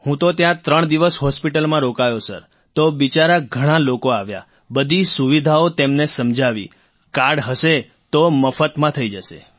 હું તો ત્યાં ત્રણ દિવસ હોસ્પિટલમાં રોકાયો સર તો બિચારા ઘણા લોકો આવ્યા બધી સુવિધાઓ તેમને સમજાવી કાર્ડ હશે તો મફતમાં થઈ જશે